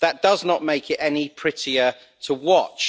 That does not make it any prettier to watch.